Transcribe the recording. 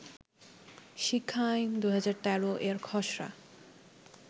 শিক্ষা আইন-২০১৩ এর খসড়া